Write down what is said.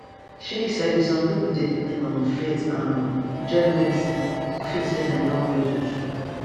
shey you sabi some pipo dey depend on faith um join medicine to feel say dem don well true true